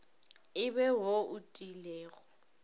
e be wo o tiilego